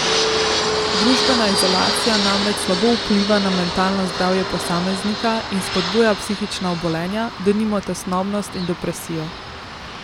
Družbena izolacija namreč slabo vpliva na mentalno zdravje posameznika in spodbuja psihična obolenja, denimo tesnobnost in depresijo.